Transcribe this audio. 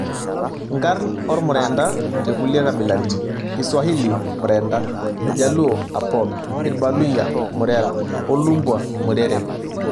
Nkarn ormurenda tekulie kabilaritin Iswahili; Mrenda, Iljaluo; Apoth, Irbaluyia; Murera oo Lumbwa; Murere.